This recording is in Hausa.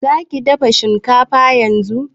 Za ki dafa shinkafa yanzu?